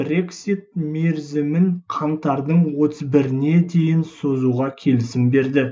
брексит мерзімін қаңтардың отыз біріне дейін созуға келісім берді